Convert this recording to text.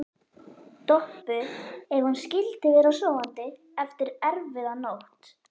Doppu ef hún skyldi vera sofandi eftir erfiða nótt.